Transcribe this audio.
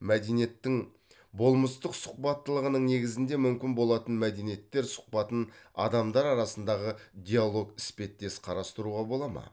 мәдениеттің болмыстық сұхбаттылығының негізінде мүмкін болатын мәдениеттер сұхбатын адамдар арасындағы диалог іспеттес қарастыруға болады ма